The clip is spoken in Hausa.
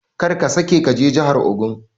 Karka sake kaje jahar ogun.